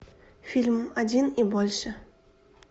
фильм один и больше